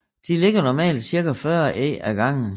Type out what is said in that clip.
De lægger normalt cirka 40 æg ad gangen